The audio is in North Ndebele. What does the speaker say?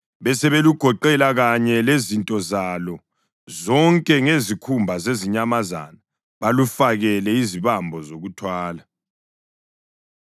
Besebelugoqela kanye lezinto zalo zonke ngezikhumba zezinyamazana balufakele izibambo zokuthwala.